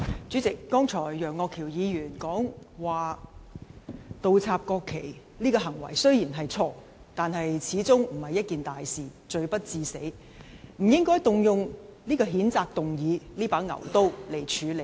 主席，楊岳橋議員剛才指倒插國旗這行為雖然錯，但始終不是一件大事，罪不致死，不應動用譴責議案這把牛刀來處理。